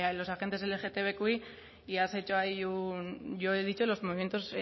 los agentes lgtbiq y has hecho ahí un yo he dicho los movimientos